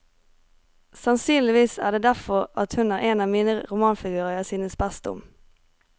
Sannsynligvis er det derfor at hun er den av mine romanfigurer jeg synes best om.